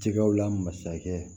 Jɛgɛw la masakɛ